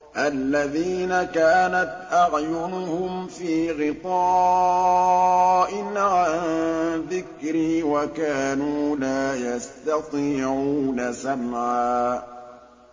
الَّذِينَ كَانَتْ أَعْيُنُهُمْ فِي غِطَاءٍ عَن ذِكْرِي وَكَانُوا لَا يَسْتَطِيعُونَ سَمْعًا